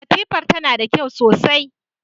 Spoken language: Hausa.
Katifar tana da kyau sosai.